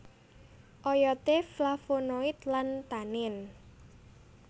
Oyode flavonoid lan tanin